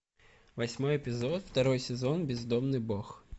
восьмой эпизод второй сезон бездомный бог